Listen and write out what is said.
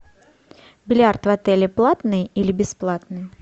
бильярд в отеле платный или бесплатный